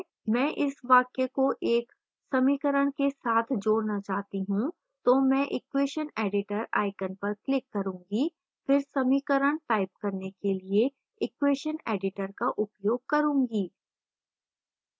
मैं इस वाक्य को एक समीकरण के साथ जोड़ना चाहती हूं तो मैं equation editor icon पर click करूँगी फिर समीकरण type करने के लिए equation editor का उपयोग करूँगी